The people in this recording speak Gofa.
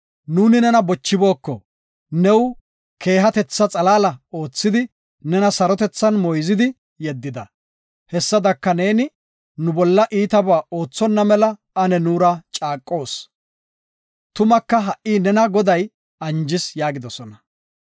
Nuuni nena bochibooko, new keehatetha xalaala oothidi, nena sarotethan moyzidi yeddida. Hessadaka neeni nu bolla iitaba oothonna mela, ane neera caaqoos. Tumaka ha7i nena Goday anjis” yaagidosona.